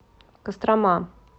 кострома